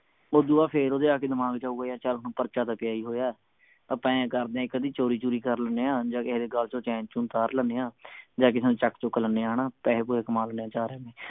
ਓਦੂੰ ਬਾਅਦ ਫੇਰ ਓਹਦੇ ਦਿਮਾਗ ਚ ਆਊਗਾ ਚਲ ਹੁਣ ਪਰਚਾ ਤਾਂ ਪਿਆ ਹੀ ਹੋਇਆ ਆਪਾਂ ਆਏਂ ਕਰਦੇ ਆ ਇਕ ਅੱਧੀ ਚੋਰੀ ਚੂਰੀ ਕਰ ਲੈਣੇ ਆ ਜਾ ਕਿਸੇ ਦੇ ਗੱਲ ਚੋ ਚੈਨ ਚੁਣ ਤਾਰ ਲੈਣੇ ਆ ਜਾ ਕਿਸੇ ਨੂੰ ਚੱਕ ਚੁੱਕ ਲੈਣੇ ਆ ਹਣਾ ਪੈਸੇ ਪੁਸੇ ਕਮਾ ਲੈਣੇ ਆ ਚਾਰ